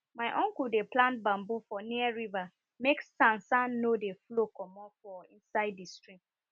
my uncle dey plant bamboo for near river make sand sand no dey flow comot for inside di stream